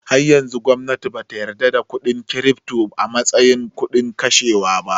Har yanzu gwamnati bata yarda da kuɗin kirifto a mastayin kudin kashewa ba